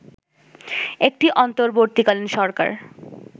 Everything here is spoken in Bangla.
একটি অন্তর্বর্তীকালীন সরকার